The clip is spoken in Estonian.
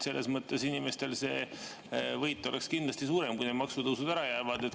Selles mõttes oleks inimestele võit kindlasti suurem, kui need maksutõusud ära jäävad.